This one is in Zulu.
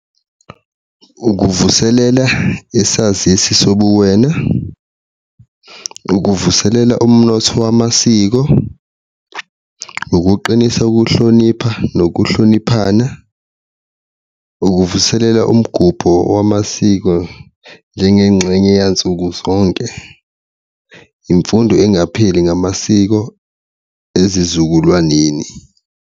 Ukuvuselela isazisi sobuwena, ukuvuselela umnotho wamasiko, ukuqinisa ukuhlonipha nokuhloniphana, ukuvuselela umgubho wamasiko njengengxenye yansuku zonke, imfundo engapheli ngamasiko ezizukulwaneni.